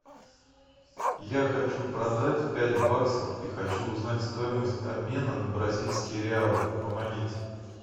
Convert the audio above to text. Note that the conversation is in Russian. я хочу продать пять баксов и хочу узнать стоимость обмена на бразильские реалы помогите